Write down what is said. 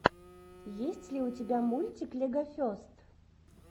есть ли у тебя мультик легофест